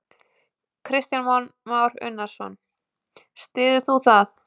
Kristján Már Unnarsson: Styður þú það?